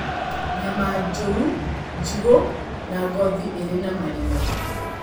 Nyama njũru, njigũ, na ngothi irĩ na marima